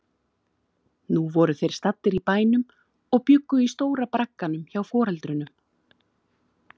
Nú voru þeir staddir í bænum og bjuggu í stóra bragganum hjá foreldrunum.